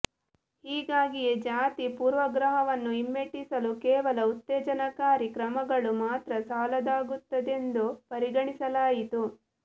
ಹೀಗಾಗಿಯೇ ಜಾತಿ ಪೂರ್ವಗ್ರಹವನ್ನು ಹಿಮ್ಮೆಟ್ಟಿಸಲು ಕೇವಲ ಉತ್ತೇಜನಕಾರಿ ಕ್ರಮಗಳು ಮಾತ್ರ ಸಾಲದಾಗುತ್ತದೆಂದು ಪರಿಗಣಿಸಲಾಯಿತು